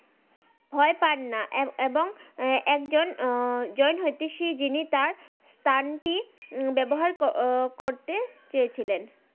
ভই পান না এবং একজন জই হতিসি জিনি তার কান টি ব্যবহার করতে চেয়েছিলেন